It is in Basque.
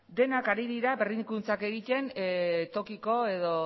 denak ari dira berrikuntzak egiten tokiko edo